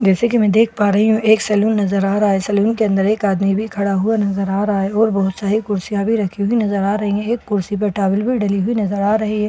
जैसे कि मैं देख पा रही हूं एक सलून नजर आ रहा है सलून के अंदर एक आदमी भी खड़ा हुआ नजर आ रहा है और बहुत सारी कुर्सियां भी रखी हुई नजर आ रही है एक कुर्सी पर टावल भी डले हुए नजर आ रहे हैं।